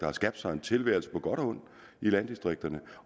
har skabt sig en tilværelse på godt og ondt i landdistrikterne